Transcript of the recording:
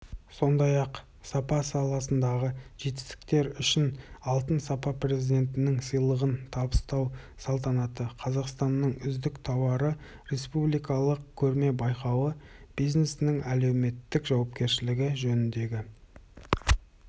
сондай-ақ сапа саласындағы жетістіктер үшін алтын сапа президентінің сыйлығын табыстау салтанаты қазақстанның үздік тауары республикалық көрме-байқауы бизнестің әлеуметтік жауапкершілігі жөніндегі